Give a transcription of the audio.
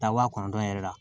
Taa wa kɔnɔntɔn yɛrɛ la